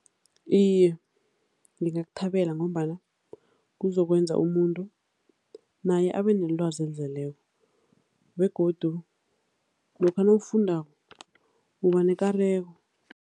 Iye, ngingakuthabela ngombana kuzokwenza umuntu naye abenelwazi elizeleko begodu lokha nawufundako ubanekareko.